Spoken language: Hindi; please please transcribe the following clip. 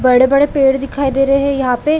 बड़े-बड़े पेड़ दिखाई दे रहे है यहाँ पे--